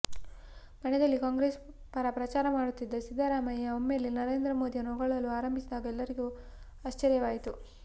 ಮಂಡ್ಯದಲ್ಲಿ ಕಾಂಗ್ರೇಸ್ ಪರ ಪ್ರಚಾರ ಮಾಡುತ್ತಿದ್ದ ಸಿದ್ದರಾಮಯ್ಯ ಒಮ್ಮೆಲ್ಲೆ ನರೇಂದ್ರ ಮೋದಿಯನ್ನು ಹೊಗಳಲು ಆರಂಭಿಸಿದಾಗ ಎಲ್ಲರಿಗೂ ಆಶ್ವರ್ಯವಾಗಿತ್ತು